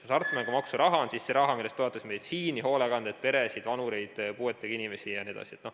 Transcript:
Hasartmängumaksu raha on see raha, millest toetatakse meditsiini, hoolekannet, peresid, vanureid, puuetega inimesi jne.